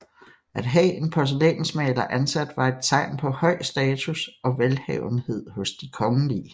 At have en porcelænsmaler ansat var et tegn på høj status og velhavenhed hos de kongelige